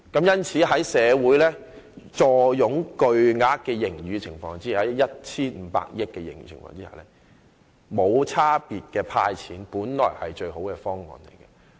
因此，在社會坐擁 1,500 億元巨額盈餘的情況下，無差別地"派錢"本來就是最佳方案。